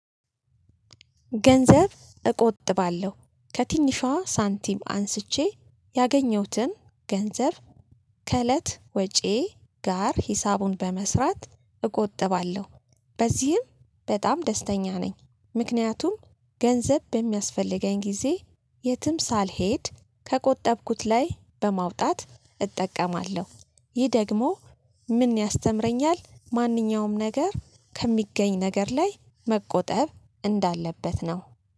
ገንዘብ እቆጥባለሁ ከትንሿ ሳንቲም አንስቼ ያገኘሁትን ገንዘብ ከእለት ወጪዬ ጋር ሂሳቡን በመስራት እቆጥባለሁ በዚህም በጣም ደስተኛ ነኝ። ምክንያቱም ገንዘብ በሚያስፈልገኝ ጊዜ የትም ሳልሄድ ከቆጠብኩት ላይ በማውጣት እጠቀማለሁ ይህ ደግሞ ምን ያስተምረኛል? ማንኛውም ነገር ከሚገኝ ነገር ላይ መቆጠብ እንዳለበት ነው